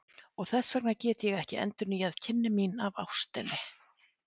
Og þess vegna get ég ekki endurnýjað kynni mín af ástinni.